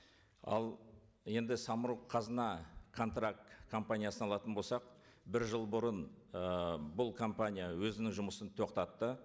ал енді самұрық қазына контракт компаниясын алатын болсақ бір жыл бұрын ы бұл компания өзінің жұмысын тоқтатты